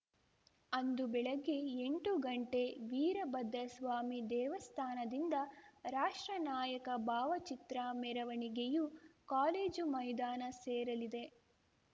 ಅಂದು ಬೆಳಗ್ಗೆ ಎಂಟು ಗಂಟೆ ವೀರಭದ್ರಸ್ವಾಮಿ ದೇವಸ್ಥಾನದಿಂದ ರಾಷ್ಟ್ರ ನಾಯಕ ಭಾವಚಿತ್ರ ಮೆರವಣಿಗೆಯು ಕಾಲೇಜು ಮೈದಾನ ಸೇರಲಿದೆ